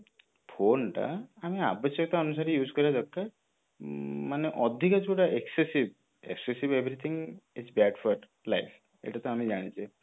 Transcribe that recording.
phone ଟା ଆମେ ଆବଶ୍ୟକ ଅନୁସାରେ use କରିବା ଦରକାର ମାନେ ଅଧିକାଂଶ ଯୋଉଟା excessive excessive everything is bad for life ଏଇଟା ତ ଆମେ ଜାଣିଛେ